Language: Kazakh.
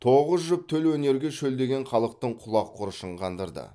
тоғыз жұп төл өнерге шөлдеген халықтың құлақ құрышын қандырды